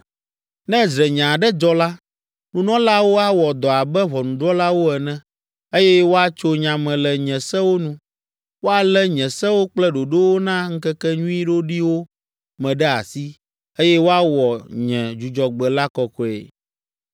“ ‘Ne dzrenya aɖe dzɔ la, nunɔlaawo awɔ dɔ abe ʋɔnudrɔ̃lawo ene, eye woatso nya me le nye sewo nu. Woalé nye sewo kple ɖoɖowo na ŋkekenyui ɖoɖiwo me ɖe asi, eye woawɔ nye Dzudzɔgbe la kɔkɔe.